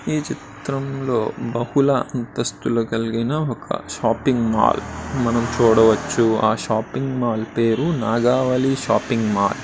ఈ చిత్రంలో బహుళ అంతస్తులు కలిగిన ఒక షాపింగ్ మాల్ మనం చూడవచ్చు ఆ షాపింగ్ మాల్ పేరు నాగావళి షాపింగ్ మాల్ .